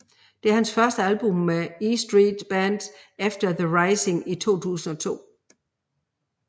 Det er hans første album med E Street Band efter The Rising i 2002